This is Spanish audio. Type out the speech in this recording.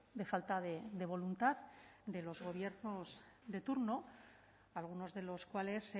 de falta de voluntad de los gobiernos de turno algunos de los cuales